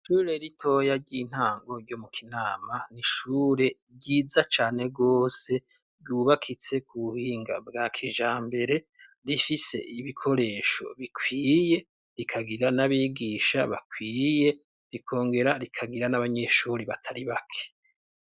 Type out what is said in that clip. Ishure ritoya ry'intango ryo mu kinama, n'ishure ryiza cane gose ryubakitse ku buhinga bwa kijambere rifise ibikoresho bikwiye ,rikagira n'abigisha bakwiye rikongera rikagira n'abanyeshure batari bake.